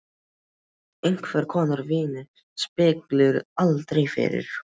Sletta af einhvers konar víni spillir aldrei fyrir.